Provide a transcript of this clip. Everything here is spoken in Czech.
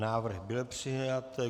Návrh byl přijat.